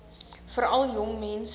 veral jong mense